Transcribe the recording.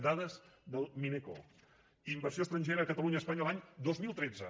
dades del mineco inversió estrangera a catalunya espanya l’any dos mil tretze